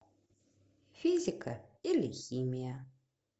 физика или химия